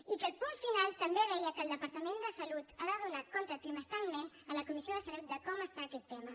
i que el punt final també deia que el departament de salut ha de donar compte trimestralment a la comissió de salut de com està aquest tema